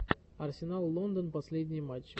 арсенал лондон последние матчи